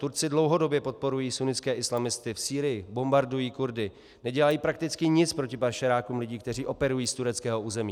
Turci dlouhodobě podporují sunnitské islamisty v Sýrii, bombardují Kurdy, nedělají prakticky nic proti pašerákům lidí, kteří operují z tureckého území.